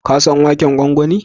Ka san waken gwangwani?